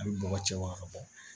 A bɛ bɔgɔ cɛ wa ka bɔ